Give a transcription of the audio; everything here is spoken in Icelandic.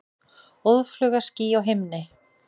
Óðfluga ský á himni.